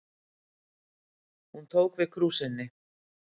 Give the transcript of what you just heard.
Hún tók við krúsinni.